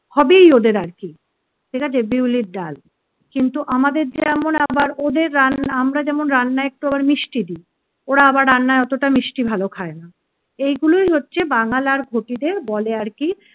হবেই ওদের আরকি, ঠিক আছে বিউলির ডাল কিন্তু আমাদের যেমন আবার ওদের রান্না আমরা যেমন রান্নায় একটু আবার মিষ্টি দি ওরা আবার রান্নায় অতটা মিষ্টি ভালো খায় না। এগুলোই হচ্ছে বাঙাল আর ঘটিদের বলে আর কি